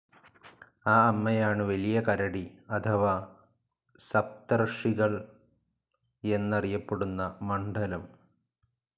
ആ അമ്മയാണ് വലിയ കരടി അഥവാ സപ്തർഷികൾ എന്നറിയപ്പെടുന്ന മണ്ഡലം.